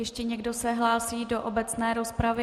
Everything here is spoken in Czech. Ještě někdo se hlásí do obecné rozpravy?